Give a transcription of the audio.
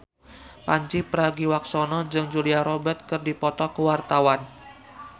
Pandji Pragiwaksono jeung Julia Robert keur dipoto ku wartawan